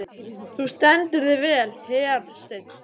Þú stendur þig vel, Hersteinn!